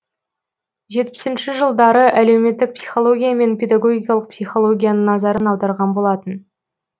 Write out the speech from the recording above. жетпісінші жылдары әлеуметтік психология мен педагогикалық психологияның назарын аударған болатын